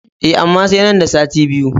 E, amma sai nan da sati biyu.